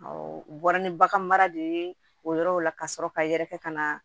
u bɔra ni bagan mara de ye o yɔrɔw la ka sɔrɔ ka yɛrɛkɛ ka na